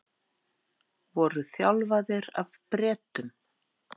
Voru þjálfaðir af Bretum